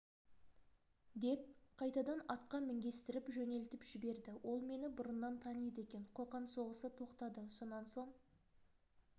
деп қайтадан атқа мінгестіріп жөнелтіп жіберді ол мені бұрыннан таниды екен қоқан соғысы тоқтады сонан соң